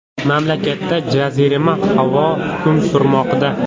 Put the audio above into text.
Mamlakatda jazirama havo hukm surmoqda.